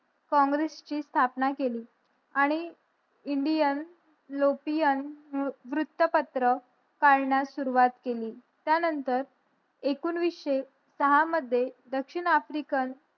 काँग्रेस ची स्थापना केले आणि इंडियन लोपियन वृत्तपत्र पाळण्यास सुरवात केली त्या नंतर एकूणवीसशे सहा मध्ये दक्षिण आफ्रिकन